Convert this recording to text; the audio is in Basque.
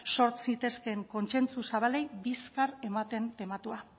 sor zitezkeen kontsentsu zabalei bizkar ematen tematua